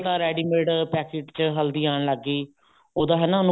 ਤਾਂ ready mate packet ਚ ਹਲਦੀ ਆਉਣ ਲੱਗ ਗਈ ਉਹਦਾ ਹਨਾ